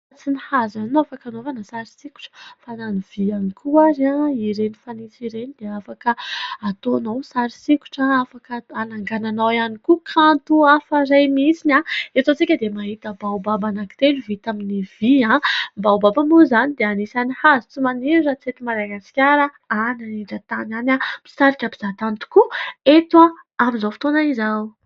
Tsy ny hazo ihany no afaka anaovana sary sikotra fa na ny vy ihany koa ary, ireny fanitso ireny dia afaka ataonao sary sikotra, afaka anangananao ihany koa kanto hafa iray mihitsy. Eto izao isika dia mahita baobaba telo vita avy amin'ny vy. Ny baobaba moa izany dia anisan'ny hazo tsy maniry raha tsy eto Madagasikara, any anindran-tany any. Misarika mpizahan-tany toka eto amin'izao fotoana izao.